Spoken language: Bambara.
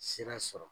Sira sɔrɔ